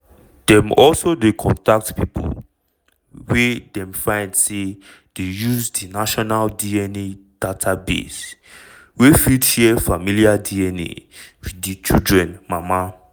dem also dey contact pipo wey dem find say dey use di national dna database wey fit share familiar dna wit di children mama.